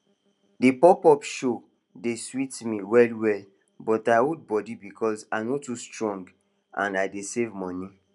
the popup show dey sweet me wellwell but i hold body because i no too strong and i dey save money